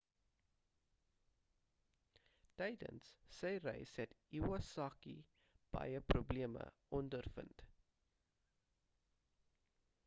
tydens sy reis het iwasaki baie probleme ondervind